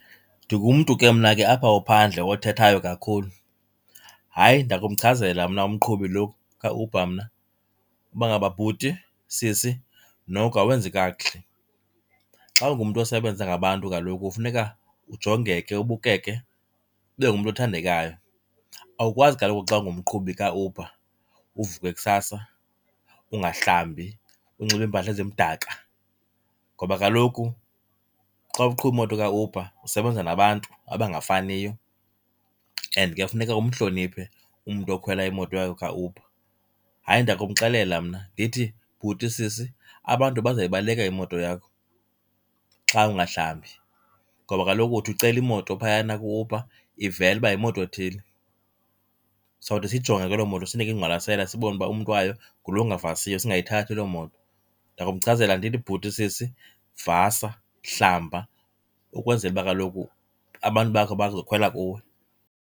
Ndingumntu ke mna ke apha ophandle othethayo kakhulu. Hayi, ndakumchazela mna umqhubi lo kaUber mna uba ngaba bhuti, sisi, noko awenzi kakuhle. Xa ungumntu osebenza ngabantu kaloku funeka ujongeke, ubukeke, ube ngumntu othandekayo. Awukwazi kaloku xa ungumqhubi kaUber uvuke kusasa ungahlambi, unxibe iimpahla ezimdaka ngoba kaloku xa uqhuba imoto kaUber usebenza nabantu abangafaniyo and ke funeke umhloniphe umntu okhwela imoto kaUber. Hayi, ndakumxelela mna ndithi, bhuti, sisi, abantu bazayibaleka imoto yakho xa ungahlambi, ngoba kaloku uthi ucela imoto phayana ku-Uber ivele uba yimoto ethile. Sawuthi siyijonge ke loo moto sinike ingqwalasela, sibone uba umntu wayo ngulo ungavasiyo, singayithathi loo moto. Ndakumchazela ndithi, bhuti, sisi, vasa, hlamba ukwenzela uba kaloku abantu bakho bazokhwela kuwe.